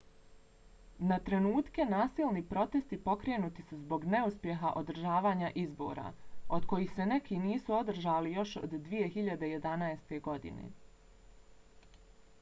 na trenutke nasilni protesti pokrenuti su zbog neuspjeha održavanja izbora od kojih se neki nisu održali još od 2011. godine